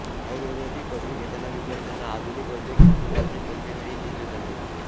आयुर्वेदातील पदवी घेताना विद्यार्थ्यांना आधुनिक वैद्यक शास्त्राचे प्रशिक्षणही दिले जाते